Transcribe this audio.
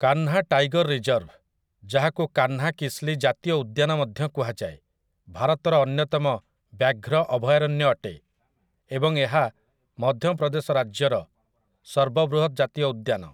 Kanha tiger reserve, ଯାହାକୁ କାହ୍ନାକିସ୍ଲି ଜାତୀୟ ଉଦ୍ୟାନ ମଧ୍ୟ କୁହାଯାଏ, ଭାରତର ଅନ୍ୟତମ ବ୍ୟାଘ୍ର ଅଭୟାରଣ୍ୟ ଅଟେ ଏବଂ ଏହା ମଧ୍ୟପ୍ରଦେଶ ରାଜ୍ୟର ସର୍ବବୃହତ ଜାତୀୟ ଉଦ୍ୟାନ ।